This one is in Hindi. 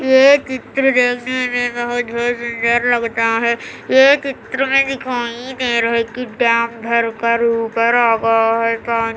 ये एक चित्र जैसा है